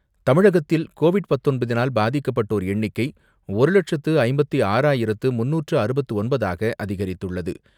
தமிழகத்தில் கோவிட் பத்தொன்பதினால் பாதிக்கப்பட்டோர் எண்ணிக்கை ஒரு லட்சத்து ஐம்பத்தி ஆறாயிரத்து முன்னூற்று அறுபத்து ஒன்பதாக அதிகரித்துள்ளது.